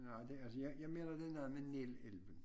Nej det altså jeg mener det noegt med nel elven